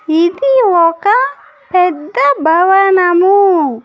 ఇది ఒక పెద్ద భవనము.